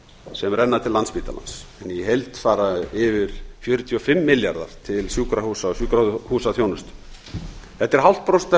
sem renna til landspítalans í heild fara yfir fjörutíu og fimm milljarðar til sjúkrahúsa og sjúkrahúsþjónustu þetta er núll fimm prósent af